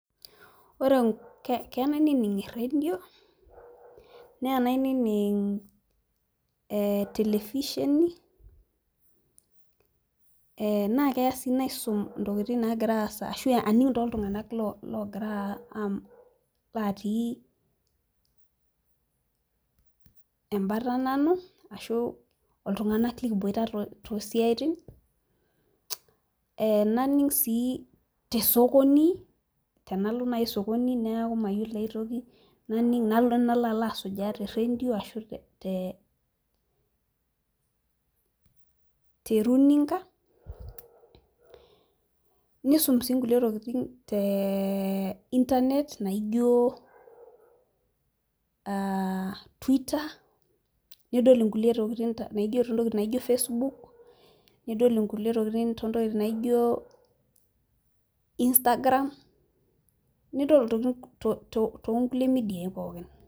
ore keya nainining eredio neya nainining' telefisheni naa keya sii naisum, ntokitin naagira aasa ashu aning' tooltunganak latii ebata nanu ashu iltunganak likiboita too siatin, ee naning' sii tesokoni, tenalo naji sokoni neeku mayiolo ae toki, nalo nalo aasujaa te redio, ashu te runinga nisum sii nkulie tokitin te inernet naijo twitter nidol nkulie tokitin naijo facebook nidol nkulie tokitin too ntokitin naijo, instagram nidol ntokitin too nkulie media pookin.